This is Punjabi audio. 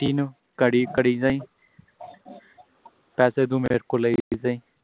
ਗਾੜੀ ਕਰੀ ਜਾਈਂ ਪੈਸੇ ਤੂੰ ਮੇਰੇ ਕੋਲੋ ਲਾਈ ਜਾਈਂ